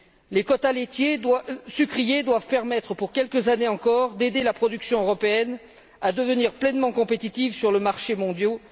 Les quotas sucriers doivent permettre, pour quelques années encore, d'aider la production européenne à devenir pleinement compétitive sur les marchés mondiaux.